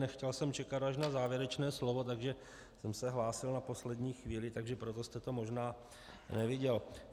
Nechtěl jsem čekat až na závěrečné slovo, takže jsem se hlásil na poslední chvíli, takže proto jste to možná neviděl.